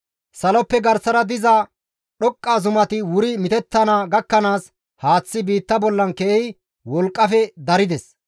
Saloppe garsara diza dhoqqa zumati wuri mitettana gakkanaas haaththay biitta bollan keehi wolqqafe darides.